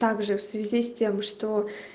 также в связи с тем что